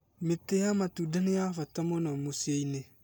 mĩtĩ ya matũnda nĩ ya mbata mũno mũcĩi-inĩ